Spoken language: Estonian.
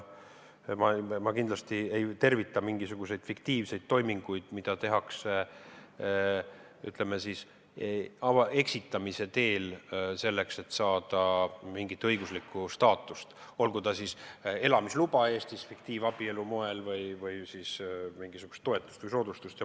Ma kindlasti ei tervita mingisuguseid fiktiivseid toiminguid, mida tehakse eksitamise teel, selleks et saada mingit õiguslikku staatust, olgu see elamisluba Eestis fiktiivabielu abil või mingisugune toetus või soodustus.